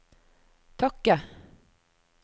takke